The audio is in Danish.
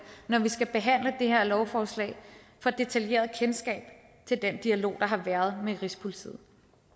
når vi skal behandle det her lovforslag får et detaljeret kendskab til den dialog der har været med rigspolitiet